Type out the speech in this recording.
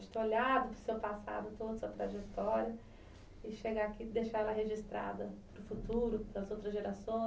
De ter olhado para o seu passado, toda a sua trajetória e chegar aqui e deixar ela registrada para o futuro, para as outras gerações,